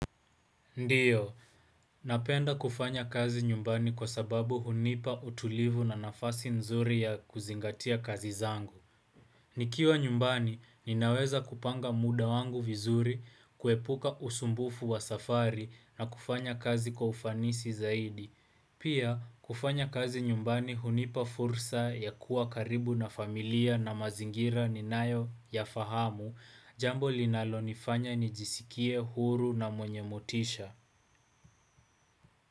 Ndiyo, napenda kufanya kazi nyumbani kwa sababu hunipa utulivu na nafasi nzuri ya kuzingatia kazi zangu. Nikiwa nyumbani, ninaweza kupanga muda wangu vizuri, kuepuka usumbufu wa safari na kufanya kazi kwa ufanisi zaidi. Pia, kufanya kazi nyumbani hunipa fursa ya kuwa karibu na familia na mazingira ni nayo ya fahamu, jambo linalonifanya ni jisikie, huru na mwenye motisha.